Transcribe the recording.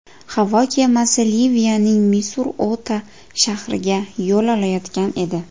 Havo kemasi Liviyaning Misurota shahriga yo‘l olayotgan edi.